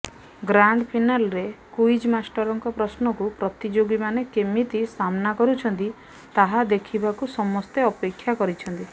ଗ୍ରାଣ୍ଡଫିନାଲେରେ quiz ମାଷ୍ଟରଙ୍କ ପ୍ରଶ୍ନକୁ ପ୍ରତିଯୋଗୀମାନେ କେମିତି ସାମ୍ନା କରୁଛନ୍ତି ତାହା ଦେଖିବାକୁ ସମସ୍ତେ ଅପେକ୍ଷା କରିଛନ୍ତି